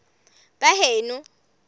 baheno